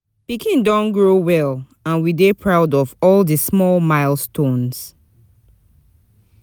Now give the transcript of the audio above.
Pikin don grow well, and we dey proud of all di small milestones.